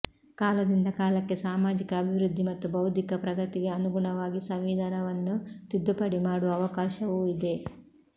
ಕಾಲದಿಂದ ಕಾಲಕ್ಕೆ ಸಾಮಾಜಿಕ ಅಭಿವೃದ್ಧಿ ಮತ್ತು ಬೌದ್ಧಿಕ ಪ್ರಗತಿಗೆ ಅನುಗುಣವಾಗಿ ಸಂವಿಧಾನವನ್ನು ತಿದ್ದುಪಡಿ ಮಾಡುವ ಅವಕಾಶವೂ ಇದೆ